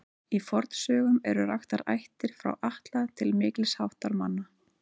Í fornsögum eru raktar ættir frá Atla til mikils háttar manna.